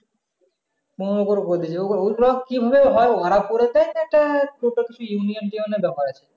পনেরো করে করে দিয়েছে ওই গুলা কি করে হয় ওরা পুরে দেয় union এ টিউনে হয়